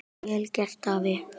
Vel gert, afi.